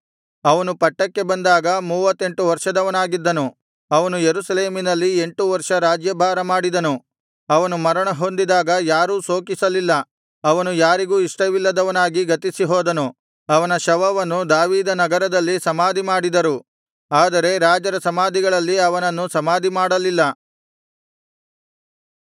ಅವನು ಪಟ್ಟಕ್ಕೆ ಬಂದಾಗ ಮೂವತ್ತೆರಡು ವರ್ಷದವನಾಗಿದ್ದನು ಅವನು ಯೆರೂಸಲೇಮಿನಲ್ಲಿ ಎಂಟು ವರ್ಷ ರಾಜ್ಯಭಾರಮಾಡಿದನು ಅವನು ಮರಣಹೊಂದಿದಾಗ ಯಾರೂ ಶೋಕಿಸಲಿಲ್ಲ ಅವನು ಯಾರಿಗೂ ಇಷ್ಟವಿಲ್ಲದವನಾಗಿ ಗತಿಸಿಹೋದನು ಅವನ ಶವವನ್ನು ದಾವೀದನಗರದಲ್ಲಿ ಸಮಾಧಿಮಾಡಿದರು ಆದರೆ ರಾಜರ ಸಮಾಧಿಗಳಲ್ಲಿ ಅವನನ್ನು ಸಮಾಧಿಮಾಡಲಿಲ್ಲ